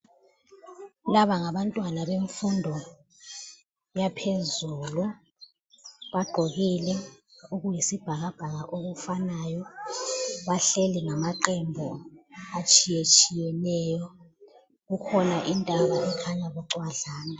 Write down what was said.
Laba ngabantwana bemfundo yaphezulu. Bagqokile okuyisibhakabhaka okufanayo bahleli ngamaqembu atshiyetshiyeneyo. Kukhona intaba ekhanya bucwadlana.